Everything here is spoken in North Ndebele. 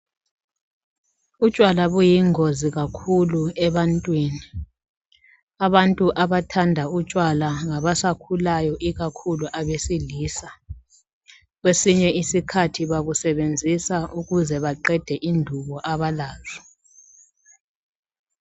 Utshwala buyingozi kakhulu ebantwini abantu abathanda utshwala ngabasakhulayo ikakhulu abesilisa kwesinye isikhathi babusebenzisa ukuze baqede indubo abalazo.